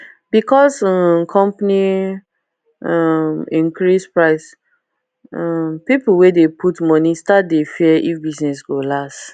because um company um increase price um pipo we dey put money start dey fear if business go last